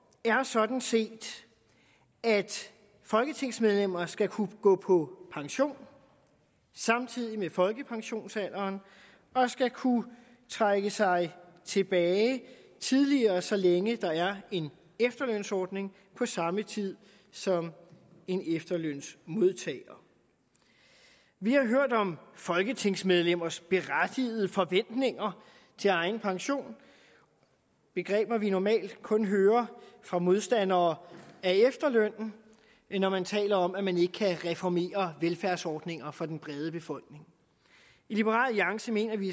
er sådan set at folketingsmedlemmer skal kunne gå på pension ved folkepensionsalderen og skal kunne trække sig tilbage tidligere så længe der er en efterlønsordning på samme tid som en efterlønsmodtager vi har hørt om folketingsmedlemmers berettigede forventninger til egen pension begreber vi normalt kun hører fra modstandere af efterlønnen når man taler om at man ikke kan reformere velfærdsordninger for den brede befolkning i liberal alliance mener vi